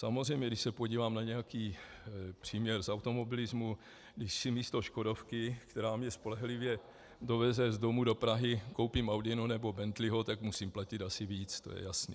Samozřejmě když se podívám na nějaký příměr z automobilismu, když si místo škodovky, která mě spolehlivě doveze z domu do Prahy, koupím audinu nebo bentleyho, tak musím platit asi víc, to je jasné.